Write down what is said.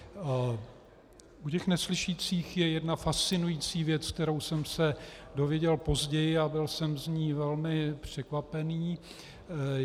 U těch neslyšících je jedna fascinující věc, kterou jsem se dozvěděl později, a byl jsem z ní velmi překvapený.